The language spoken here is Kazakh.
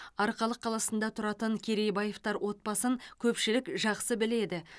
арқалық қаласында тұратын керейбаевтар отбасын көпшілік жақсы біледі